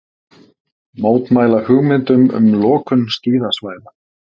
Mótmæla hugmyndum um lokun skíðasvæða